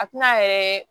A tɛna yɛrɛ